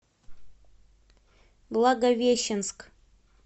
благовещенск